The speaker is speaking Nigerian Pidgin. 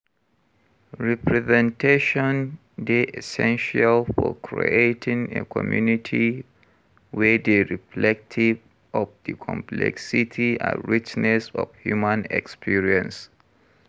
Representation dey essential for creating a community wey dey reflective of di complexity and richness of human experience.